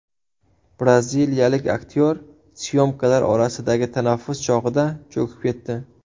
Braziliyalik aktyor syomkalar orasidagi tanaffus chog‘ida cho‘kib ketdi.